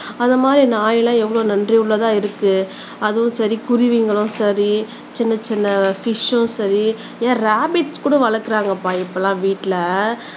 அந்த மாதிரி நாயெல்லாம் எவ்வளவு நன்றி உள்ளதா இருக்கு அதுவும் சரி குருவிகளும் சரி சின்ன சின்ன ஃபிஷும் சரி ஏன் ரேபிட் கூட வளர்க்கிறாங்கப்பா இப்பல்லாம் வீட்ல